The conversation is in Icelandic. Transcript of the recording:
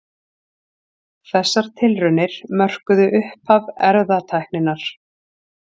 Þessar tilraunir mörkuðu upphaf erfðatækninnar.